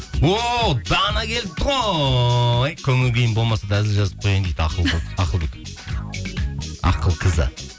о дана келіпті ғой көңіл күйім болмаса да әзіл жазып қояйын дейді ақылбек ақылқызы